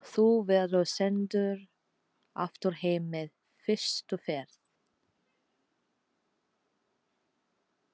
Þú verður sendur aftur heim með fyrstu ferð.